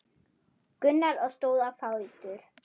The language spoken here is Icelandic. Gunnar og stóð á fætur.